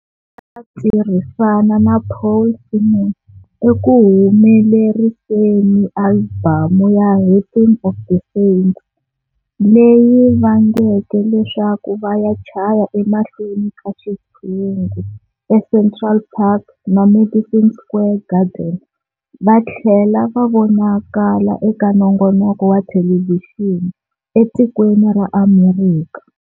A tirhisana na Paul Simon ekuhumeleriseni albamu ya"Rhythm of the Saints", leyi vangeke leswaku vaya chaya emahlweni ka xitshungu e Central Park na Madison Square Garden vathlela va vonakala eka nongonoko wa Thelevixini e tikweni ra Amerika.